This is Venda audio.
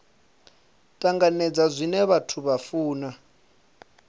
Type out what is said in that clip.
tanganedza zwine vhathu vha funa